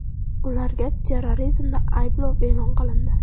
Ularga terrorizmda ayblov e’lon qilindi.